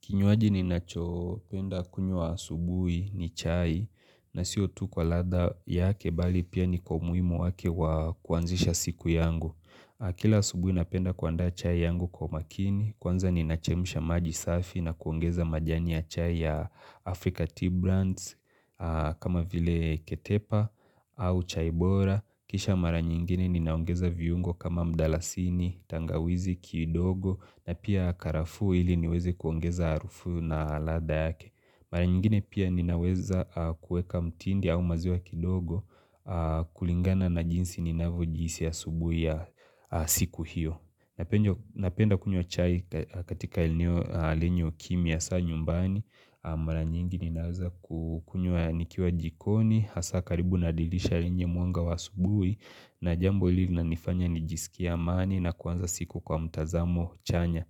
Kinywaji ninacho penda kunywa asubui ni chai na siyo tu kwa ladha yake bali pia ni kwa umuhimu wake wa kuanzisha siku yangu. Kila asubui napenda kuanda chai yangu kwa makini, kwanza nina chemusha maji safi na kuongeza majani ya chai ya Africa Tea Brands kama vile ketepa au chaibora. Kisha mara nyingine ninaongeza viungo kama mdalasini, tangawizi, kidogo na pia karafu hili niweze kuongeza harufu na ladha yake Mara nyingine pia ninaweza kueka mtindi au maziwa kidogo kulingana na jinsi ninavyo jihisi asubuhi ya siku hiyo Napenda kunywa chai katika eneo kimya sana nyumbani Mara nyingine ninaweza kukunywa nikiwa jikoni hasa karibu nadirisha lenye mwanga wa asubui na jambo hili lina nifanya nijisikia amani na kuanza siku kwa mtazamo chanya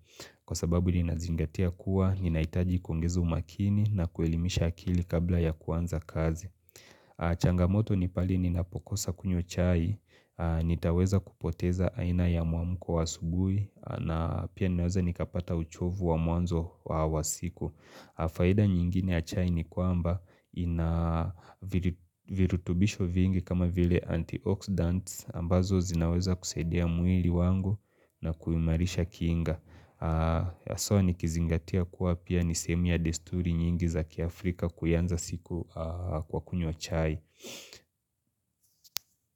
kwa sababu nina zingatia kuwa nina itaji kuongeza umakini na kuelimisha akili kabla ya kuanza kazi changamoto ni pahali ni napokosa kunywa chai nitaweza kupoteza aina ya muamuko wa asubui na pia nina weza nikapata uchovu wa mwanzo wa siku Faida nyingine ya chai ni kwamba inavirutubisho vingi kama vile anti-oxidants ambazo zinaweza kusaidia mwili wangu na kuimarisha kinga. So nikizingatia kuwa pia nisehemu ya desturi nyingi za kiafrika kuianza siku kwa kunywa chai.